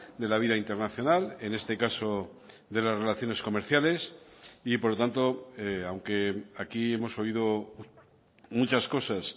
de la vida internacional en este caso de las relaciones comerciales y por lo tanto aunque aquí hemos oído muchas cosas